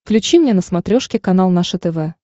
включи мне на смотрешке канал наше тв